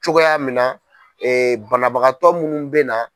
Cogoya min na banabagatɔ minnu bɛ na.